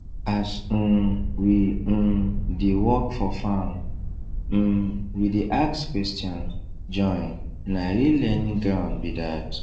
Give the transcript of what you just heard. as um we um dey work for farm um we dey ask question join na real learning ground be that